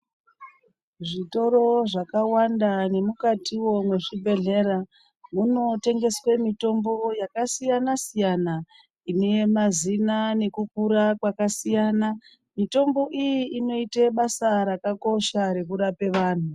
Zvitoro zvakawanda nemukatiwo mezvibhedhlera muno tengeswe mitombo yakasiyana siyana ine mazina nekukura kwakasiyana mitombo iyi inoite basa rakakosha rekurape vanhu.